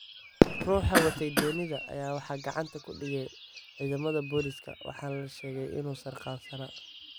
Ruuxa watay doonida ayaa waxaa gacanta ku dhigay ciidamada Booliska, waxaana la sheegay inuu sarqaansanaa.